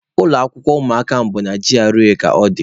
Ụlọ akwụkwọ ụmụaka m bụ na G.R.A ka ọ dị